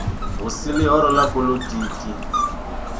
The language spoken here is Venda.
hu si ḽihoro ḽa poḽotiki